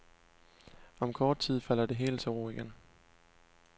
Om kort tid falder det hele til ro igen.